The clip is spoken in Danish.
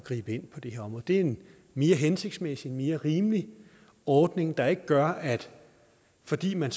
gribe ind på det her område det er en mere hensigtsmæssig mere rimelig ordning der ikke gør at fordi man